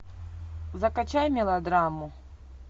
закачай мелодраму